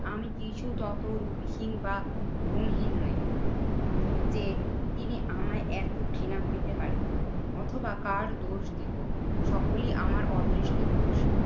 আমি কিছু তত রূপহীন বা গুণহীন নোই। যে তিনি আমায় এত ঘৃণা করিতে পারেন। অথবা কার দোষ দিবো? সকলি আমার অদৃষ্টের দোষ।